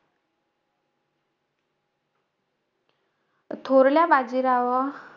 थोरल्या बाजीरावा,